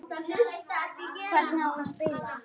Hvernig á spila?